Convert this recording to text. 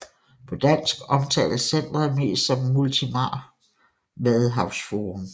På dansk omtales centret mest som Multimar Vadehavsforum